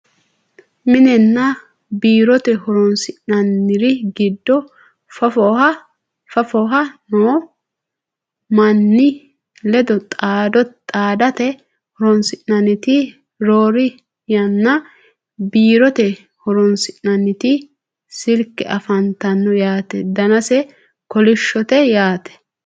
minenna biirote horonsi'nanniri giddo fafoha noo manni ledo xaadate horonsi'nanniti roore yanna biirote horonsi'nanniti silke afantanno yaate danase kolishshote yaate